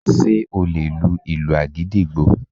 Ṣé o lè lu ìlù agidigbo